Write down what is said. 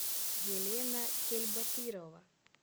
елена кельбатырова